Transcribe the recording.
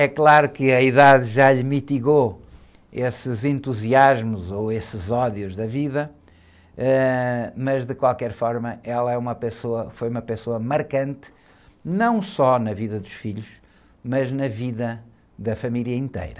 É claro que a idade já lhe mitigou esses entusiasmos ou esses ódios da vida, ãh, mas de qualquer forma ela é uma pessoa, foi uma pessoa marcante, não só na vida dos filhos, mas na vida da família inteira.